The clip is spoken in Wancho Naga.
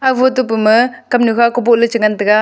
aga foto pu ma kamnu kha ku boh le cha ngan taga.